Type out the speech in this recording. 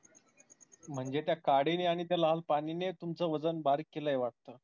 म्हणजे त्या काडीने आणि त्या लाल पाणी ने तुमचं वजन बारीक केलय वाटतं.